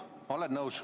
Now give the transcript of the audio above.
Jah, olen nõus.